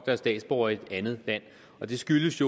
er statsborgere i et andet land og det skyldes